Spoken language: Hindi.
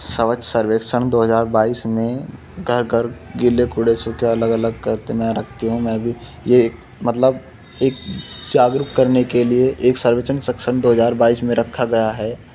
सवच्छ सर्वेक्षण दो हजार बाइस में घर घर गीले कूड़े सूखे अलग अलग करत में रखती हूं मैं भी। ये एक मतलब एक जागरूक करने के लिए एक सर्वेक्षण सक्षम दो हजार बाइस में रखा गया है।